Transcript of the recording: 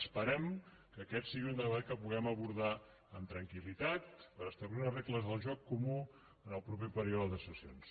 esperem que aquest sigui un debat que puguem abordar amb tranquil·litat per establir unes regles del joc comú en el proper període de sessions